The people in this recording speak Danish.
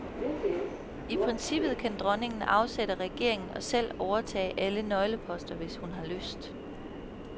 I princippet kan dronningen afsætte regeringen og selv overtage alle nøgleposter, hvis hun har lyst.